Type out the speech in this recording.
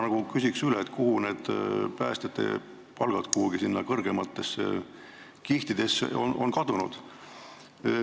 Ma küsin üle, kuidas need päästjate palgad ikkagi sinna kõrgematesse kihtidesse kadunud on.